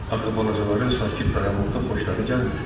Axı balacaların sakit dayanmaqdan xoşları gəlmir.